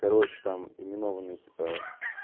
короче там именованные типа